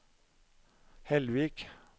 Hellvik